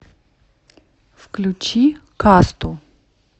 включи касту